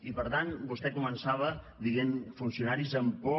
i per tant vostè començava dient funcionaris amb por